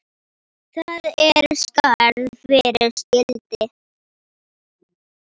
Það er skarð fyrir skildi.